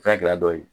Fɛn gɛlɛya dɔ ye